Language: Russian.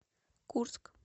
курск